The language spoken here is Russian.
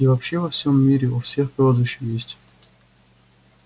и вообще во всем мире у всех прозвища есть